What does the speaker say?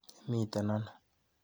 Imeiti ano?